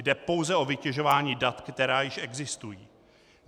Jde pouze o vytěžování dat, která již existují.